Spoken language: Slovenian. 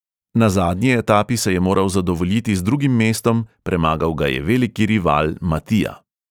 Na zadnji etapi se je moral zadovoljiti z drugim mestom, premagal ga je veliki rival matija.